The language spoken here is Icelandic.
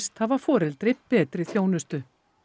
hafa foreldri betri þjónustu